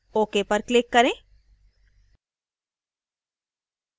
ok पर click करें